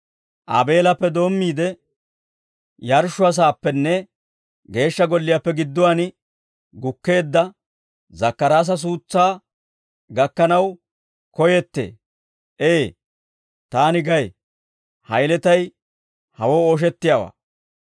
Aabeelappe doommiide yarshshuwaasaappenne geeshsha golliyaappe gidduwaan gukkeedda Zakkaraasa suutsaa gakkanaw koyettee. Ee! Taani gay; ha yeletay hawoo ooshettiyaawaa.